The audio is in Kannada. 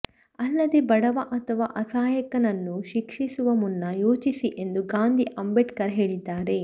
ಅಲ್ಲದೇ ಬಡವ ಅಥವಾ ಅಸಹಾಯಕನನ್ನು ಶಿಕ್ಷಿಸುವ ಮುನ್ನ ಯೋಚಿಸಿ ಎಂದು ಗಾಂಧಿ ಅಂಬೇಡ್ಕರ್ ಹೇಳಿದ್ದಾರೆ